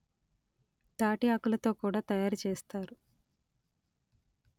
తాటి ఆకులతో కూడ తయారు చేస్తారు